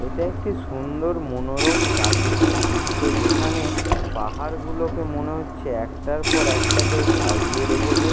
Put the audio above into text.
এইটা একটি সুন্দর মনোরম প্রাকৃতিক দৃশ্য। যেখানে পাহাড়গুলোকে মনে হচ্ছে একটার পর একটা কেউ সাজিয়ে রেখেছে।